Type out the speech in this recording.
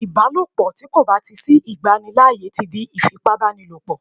ìbálòpọ̀ ti ko ba ti ko ba ti sí igbanilaaye ti di ifipabanilopo